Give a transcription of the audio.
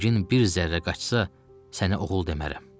Rəngin bir zərrə qaçsa, sənə oğul demərəm.